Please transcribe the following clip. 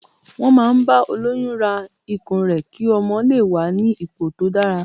Wọn máa ń bá olóyún ra ikùn rẹ ki ọmọ lè wà ní ipò tó dára.